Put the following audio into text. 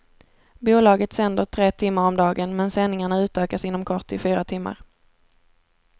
Bolaget sänder tre timmar om dagen, men sändingarna utökas inom kort till fyra timmar.